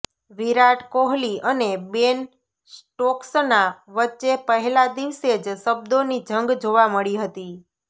વિરાટ કોહલી અને બેન સ્ટોક્સના વચ્ચે પહેલા દિવસે જ શબ્દોની જંગ જોવા મળી હતી